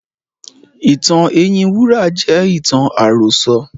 Ìtàn ẹyin wúrà jẹ́ ìtàn àròsọ.